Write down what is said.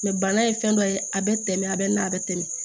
bana ye fɛn dɔ ye a bɛ tɛmɛ a bɛ na a bɛ tɛmɛ